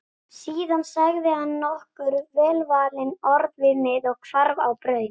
Síðan sagði hann nokkur velvalin orð við mig og hvarf á braut.